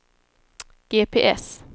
GPS